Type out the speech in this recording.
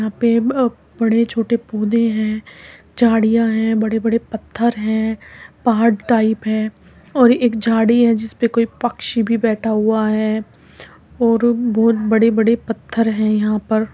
यहाँ पे बा बड़े छोटे पौधे है झाड़ियां हैबड़े बड़े पत्थर है पहाड़ टाइप है और एक झाड़ी है जिसपे कोई पक्षी भी बैठा हुआ है और बहुत बड़े बड़े पत्थर है यहाँ पर।